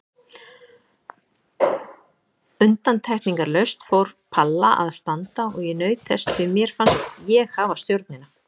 Undantekningarlaust fór Palla að standa og ég naut þess því mér fannst ég hafa stjórnina.